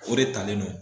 O de talen don